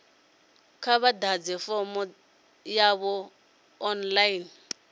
kha vha ḓadze fomo yavho online